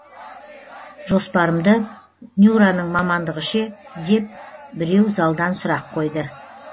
жоспарымды нюраның мамандығы ше деп біреу залдан сұрақ қойды